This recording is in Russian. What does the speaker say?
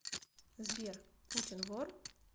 сбер путин вор